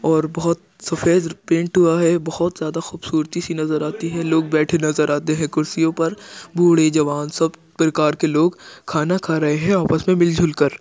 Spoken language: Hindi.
और बहोत सफ़ेद पेंट हुआ है बहोत ज्यादा खूबसूरती सी नजर आती है लोग बैठे नजर आते है कुर्सियों पर बूढ़े जवान सब प्रकार के लोग खाना खा रहे है आपस मे मिल जुल कर।